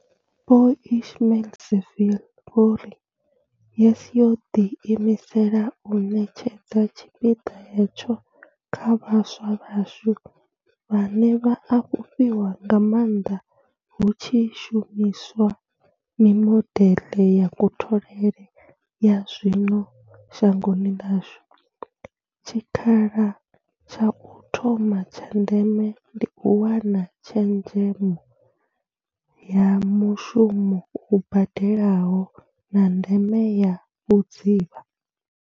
Vho Ismail-Saville vho ri YES yo ḓii misela u ṋetshedza tshipiḓa hetsho kha vhaswa vhashu, vhane vha a fhufhiwa nga maanḓa hu tshi shumi swa mimodeḽe ya kutholele ya zwino shangoni ḽashu, tshikha la tsha u thoma tsha ndeme ndi u wana tshezhemo ya mushumo u badelaho, na ndeme ya vhudzivha.